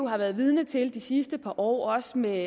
har været vidne til det sidste par år også med